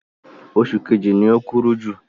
Oṣù kejì ni o kúrú jù.